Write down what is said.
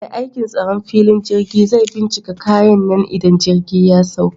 Mai aikin tsaron filin jirgi zai binciki kayan nan idan jirgi ya sauka